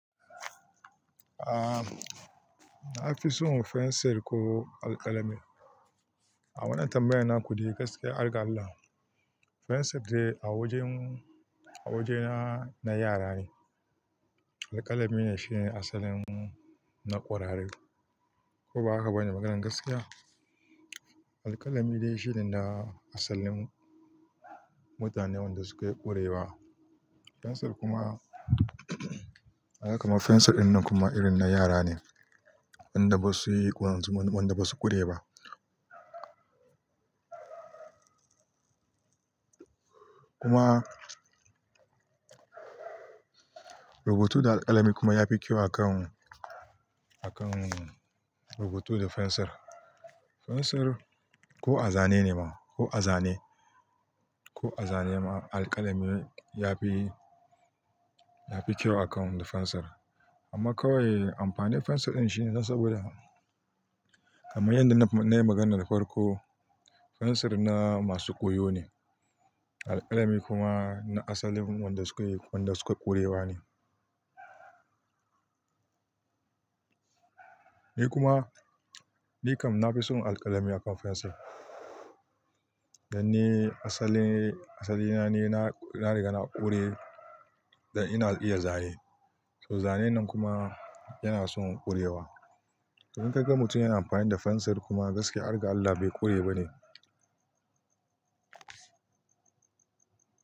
Aa, na fi son fensir ko alkalami. A wannan tambayar na kuɗi gaskiyar argalla, fensir dai a wajen, a wajena na yara ne. Alƙalami ne shine asalin na ƙwararre. Ko ba haka bane maganar gaskiya? Alƙalami dai shine na asalin mutanen da sukayi ƙurewa. Fensir kuma, haka ma fensir dinnan kuma irin na yara ne. Wanda basuyi ƙur, wanda basu ƙure ba. Kuma rubutu da alkalami kuma yafi kyau akan, akan rubutu da fensir. Fensir ko a zane ne ma, ko a zane, ko a zane ma alkalami yafi, yafi kyau akan na fensir. Amma kawai amfani fensir ɗin shine nan saboda, amma yanda nayi magana da farko, fensir na masu ƙoyo ne. Alƙalami kuma na asalin wanda sukayi, wanda sukayi ƙurewa ne. Ni kuma, nikam nafi son alkalami akan fensir. Dan ne asali, asalina ne na, na riga na ƙure da ina iya zane. To zanen nan kuma yana son ƙurewa. Idan ka ga mutum yana amfani da fensir kuma gaskiyar argalla bai ƙure ba ne.